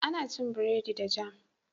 Ana cin bredi da "jam"